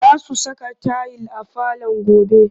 Za su saka tayil a falon gobe